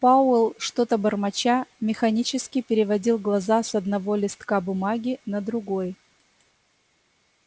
пауэлл что-то бормоча механически переводил глаза с одного листка бумаги на другой